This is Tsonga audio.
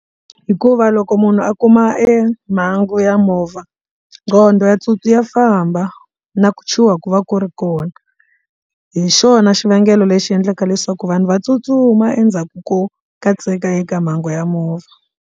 Hikuva loko munhu a kuma emhangu ya movha nqondo ya ya famba na ku chuha ku va ku ri kona hi xona xivangelo lexi endlaka leswaku vanhu va tsutsuma endzhaku ko katseka eka mhangu ya movha.